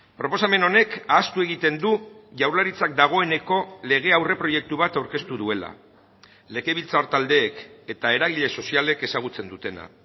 proposamen honek ahaztu egiten du jaurlaritzak dagoeneko lege aurreproiektu bat aurkeztu duela legebiltzar taldeek eta eragile sozialek ezagutzen dutena